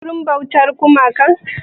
Ka je wurin bautar gumakan?